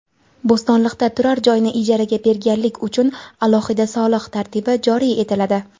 Bo‘stonliqda turar joyni ijaraga berganlik uchun alohida soliq tartibi joriy etiladi.